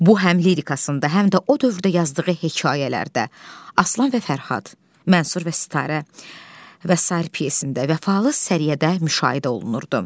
Bu həm lirikasında, həm də o dövrdə yazdığı hekayələrdə, Aslan və Fərhad, Mənsur və Sitarə və sair pyesində, Vəfalı Səriyyədə müşahidə olunurdu.